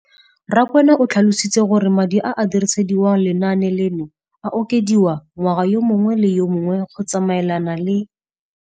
Rakwena o tlhalositse gore madi a a dirisediwang lenaane leno a okediwa ngwaga yo mongwe le yo mongwe go tsamaelana le